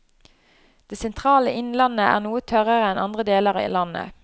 Det sentrale innlandet er noe tørrere enn andre deler av landet.